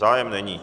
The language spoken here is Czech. Zájem není.